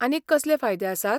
आनीक कसले फायदे आसात?